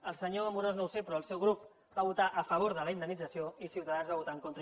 el senyor amorós no ho sé però el seu grup va votar a favor de la indemnització i ciutadans hi va votar en contra